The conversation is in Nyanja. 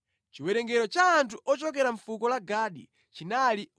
Chiwerengero cha anthu ochokera mʼfuko la Gadi chinali 45, 650.